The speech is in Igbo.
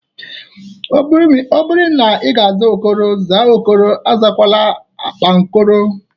Ọ bụrụ ị ga-aza Okoro, zaa Okoro. Azakwala akpankoro!